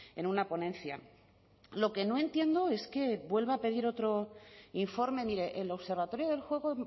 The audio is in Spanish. en una ponencia lo que no entiendo es que vuelva a pedir otro informe mire el observatorio del juego